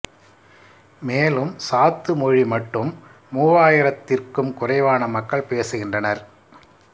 மேலும் சாத்து மொழி மட்டும் மூவாயிரத்திர்க்கும் குறைவான மக்கள் பேசுகின்றனர்